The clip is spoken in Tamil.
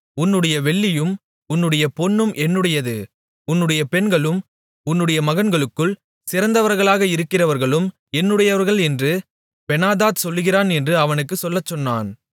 உன்னுடைய வெள்ளியும் உன்னுடைய பொன்னும் என்னுடையது உன்னுடைய பெண்களும் உன்னுடைய மகன்களுக்குள் சிறந்தவர்களாக இருக்கிறவர்களும் என்னுடையவர்கள் என்று பெனாதாத் சொல்லுகிறான் என்று அவனுக்குச் சொல்லச்சொன்னான்